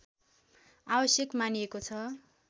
आवश्यक मानिएको छ